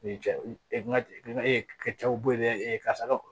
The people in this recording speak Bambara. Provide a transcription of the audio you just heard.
cɛw bo yen dɛ karisa